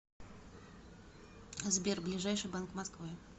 сбер ближайший банк москвы